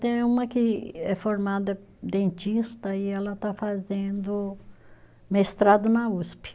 Tem uma que é formada dentista e ela está fazendo mestrado na Usp.